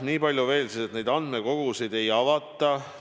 Nii palju veel, et neid andmekogusid ei avata.